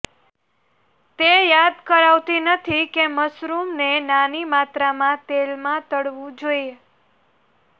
તે યાદ કરાવતી નથી કે મશરૂમ્સને નાની માત્રામાં તેલમાં તળવું જોઈએ